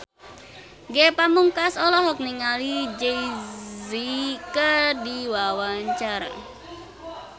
Ge Pamungkas olohok ningali Jay Z keur diwawancara